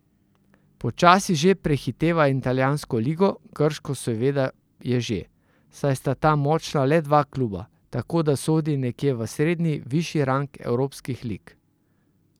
Počasi že prehiteva italijansko ligo, grško seveda je že, saj sta tam močna le dva kluba, tako da sodi nekje v srednji višji rang evropskih lig.